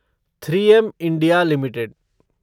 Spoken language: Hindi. three M India limited